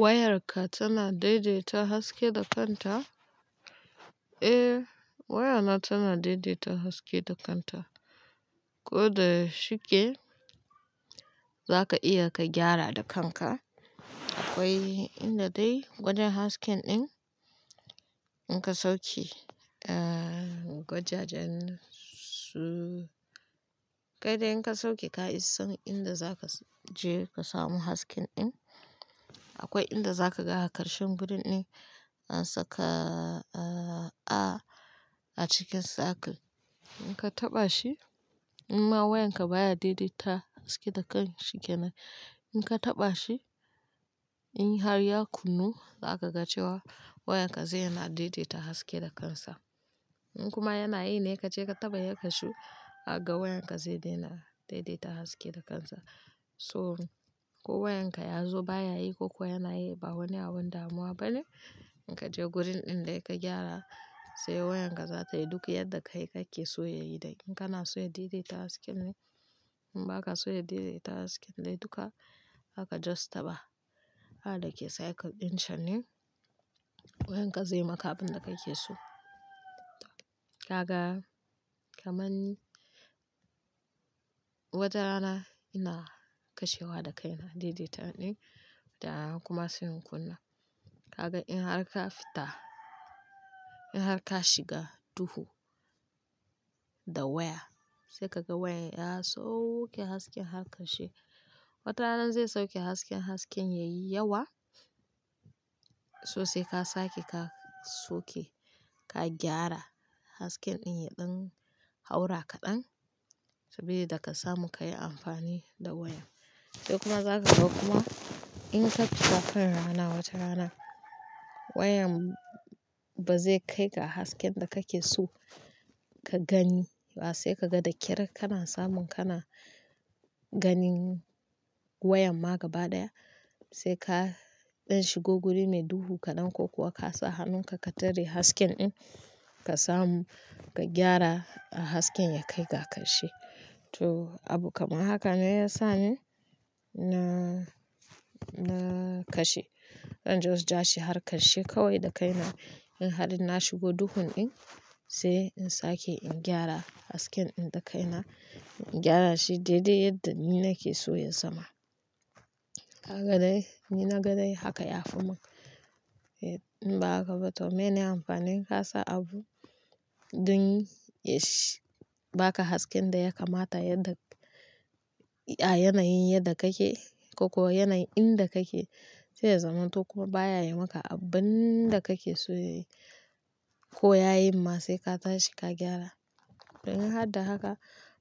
Wayarka tana daidaita haske da kanta? Eh wayana tana daidaita haske da kanta. Ko da shike za ka iya ka gyara da kanka. Akwai inda dai gwajen hasken ɗin in ka sauce eh gwajajen su. Kai dai in ka sauke ka isan inda za ka je ka samu haske ɗin. Akwai inda za ka ga a ƙarshen gurin ɗin an saka a cikin circle. In ka taɓa shi imma wayarka baya daidaita haske da kan shike na. In ka taɓa shi in har ya kunnu za ka ga cewa wayarka zaina daidaita haske da kansa. In kuma yana yi ne ka je ka taɓa ya kashu dakaga wayarka zai daina daidaita haske da kansa. So ko wayanka ya zo baya yi ko kuwa yanayi ba wani abun damuwa bane. In ka je gurin ɗin dai ka gyara sai wayarka za ta yi duk yadda kai kake so ya yi dai. In kana so ya daidaita hasken ne in ba ka so ya daidaita hasken ne duka zaka just taɓa. A dake circle ɗin can ne wayarka zai yi maka abin da kake so. Kaga kaman ni wata rana ina kashewa da kaina daidaita ɗin da kuma sai in kunna. Kaga in har ka fita in har ka shiga duhu da waya sai ka ga wayar ya sauke hasken har kashe. Wata rana zai sauke hasken, hasken yayi yawa so sai ka sake ka soke ka gyara hasken ɗin ya ɗan haura kaɗan saboda da ka samu ka yi amfani da waya. Sai kuma za ka ga kuma in ka fita kan rana wata rana wayan ba zai kai ga hasken da kake so ka gani ba sai ka ga da kyar kana samun kana ganin wayan ma gaba ɗaya. Sai ka ɗan shigo guri mai duhu kaɗan ko kuwa ka sa hannunka ka tare haske ɗin ka samu ka gyara hasken ya kai ga karshe. To abu kamar haka ne ya sa ni na-na kashe. In just ja shi har karshe kawai da kaina. In har na shigo duhun ɗin sai in sake in gyara hasken ɗin da kaina. In gyara shi daidai yadda ni nake so ya zama. Haka dai ni na ga dai haka ya fi mun eh in ba haka ba to mene amfani? Ka sa abu dun ya sh-- baka hasken da ya kamata yadda a yanayin yadda kake ko kuwa yanayin inda kake sai ya zama. To kuma baya yi maka abun da kake so ya yi ko ya yin ma sai ka tashi ka gyara. In har da haka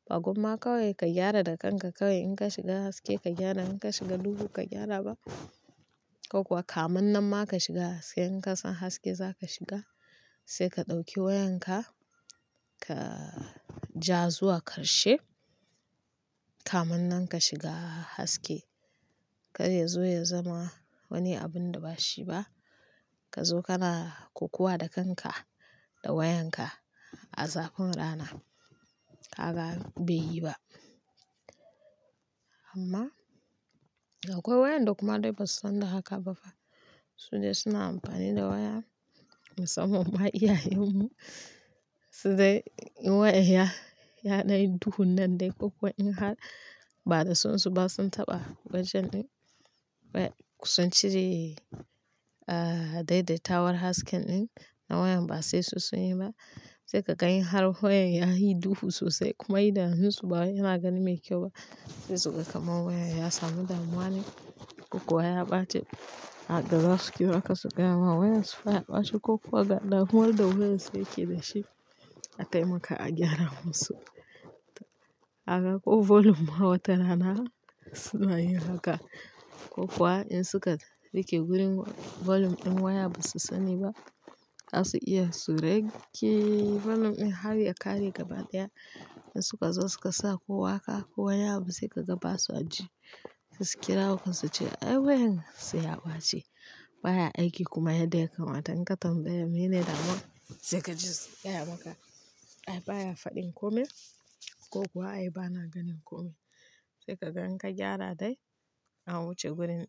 ba gomma kawai ka gyara da kanka kawai in ka shiga haske ka gyara in ka shiga duhu ka gyara ba. Ko kuwa kamannan ma ka shiga haske in ka san haske za ka shiga sai ka ɗauki wayanka ka ja zuwa ƙarshe kamannan ka shiga haske. Kar ya zo ya zama wani abun da ba shi ba. Ka zo kana kokuwa da kanka da wayanka a zafun rana. Haka bai yi ba. Amma akwai wayanda kuma dai ba su san da haka ba fa. Su dai suna amfani da waya. Musamman ma iyayenmu su dai in wayan ya-ya danyi duhun nan dai ko kuwa in har ba da son su ba sun taɓa gwajen ɗin. Way-- sun cire daidaita war haske ɗin na wayan ba sai su sanyi ba. Sai ka gan in har wayan yayi duhu sosai kuma idan hunsu ba yana gani mai kyau ba sai suga kaman wayan ya samu damuwa ne ko kuwa ya ɓace. Haka zasu kira ka su gaya ma wayan su fa ya ɓaci ko kuwa ga damuwar da wayansu yake da shi a taimaka a gyara musu. Haka ko volume ma wata rana suna yin haka. Ko kuwa in suka rike gurin volume ɗin waya basu sani ba zasu iya su rage volume ɗin har ya ƙare gaba ɗaya. In suka zo suka sa ko haka ko wani abu sai ka ga ba su ji sai su kira ku su ce "ai wayan sai ya ɓace baya aiki kuma yadda ya kamata in ka tambaya mene damuwa sai ka ji sun gaya maka ai baya faɗin kome ko kuwa ai bana ganin kome." Sai ka ga in ka gyara dai an wuce gurin ɗin.